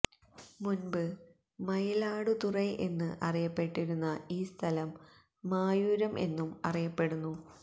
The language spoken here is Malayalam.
മുന്പ് മയിലാടുതുറൈ എന്ന് അറിയപ്പെട്ടിരുന്ന ഈ സ്ഥലം മായൂരം എന്നും അറിയപ്പെടുന്നു